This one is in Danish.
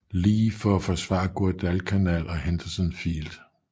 Lee for at forsvare Guadalcanal og Henderson Field